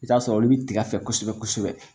I bi t'a sɔrɔ olu bi tiga fɛ kosɛbɛ kosɛbɛ